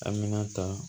An mina ta